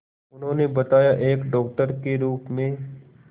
उन्होंने बताया एक डॉक्टर के रूप में